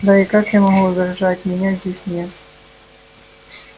да и как я могу возражать меня здесь нет